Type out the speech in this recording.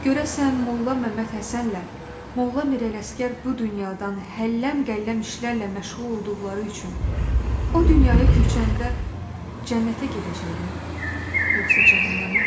Görəsən Molla Məmmədhəsənlə Molla Mirələşgər bu dünyadan həlləm-qəlləm işlərlə məşğul olduqları üçün o dünyaya köçəndə cənnətə gedəcəklər, yoxsa cəhənnəmə?